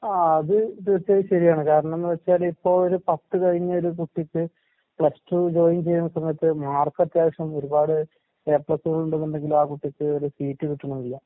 ആഹ് അത് തീർച്ചയായും ശെരിയാണ്. കാരണംന്ന് വെച്ചാലിപ്പോ ഒര് പത്ത് കഴിഞ്ഞൊരു കുട്ടിക്ക് പ്ലസ് ടു ജോയിൻ ചെയ്യുന്ന സമയത്ത് മാർക്കത്യാവശ്യം ഒരുപാട് എ പ്ലസുകൾ ഉണ്ടെന്നുണ്ടെങ്കിലും ആ കുട്ടിക്ക് ഒരു സീറ്റ് കിട്ടണില്ല.